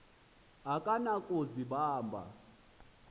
akaba na kuzibamba